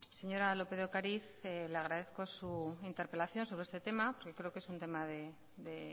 señora lópez de ocariz le agradezco su interpelación sobre este tema creo que es un tema de